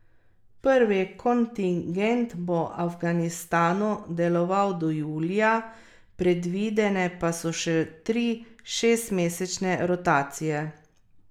Prvi kontingent bo v Afganistanu deloval do julija, predvidene pa so še tri šestmesečne rotacije.